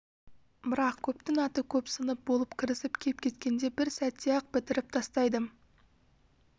бірақ көптің аты көп сынып болып кірісіп кеп кеткенде бір сәтте-ақ бітіріп тастайды